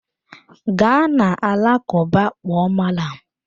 Gaa na alakụba kpọọ malam!